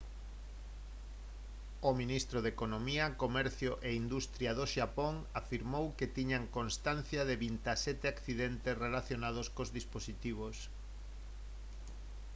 o ministro de economía comercio e industria do xapón afirmou que tiñan constancia de 27 accidentes relacionados cos dispositivos